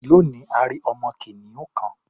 Lónìí, a rí ọmọ kìnìún kan.